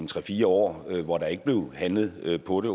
tre fire år hvor der ikke blev handlet på det